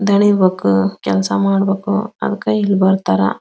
ದಣಿಬೇಕು ಕೆಲಸ ಮಾಡಬೇಕು ಅದಕ್ಕ ಇಲ್ ಬರ್ತಾರಾ.